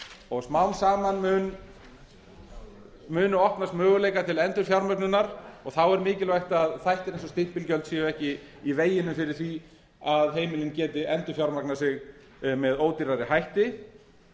og smám saman munu opnast möguleikar til endurfjármögnunar og þá er mikilvægt að þættir eins og stimpilgjöld séu ekki í veginum fyrir því að heimilin geti endurfjármagnað sig með ódýrari hætti